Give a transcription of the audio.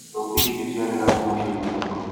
Tangauthi icio ciarĩ na thumu ciomire kũ?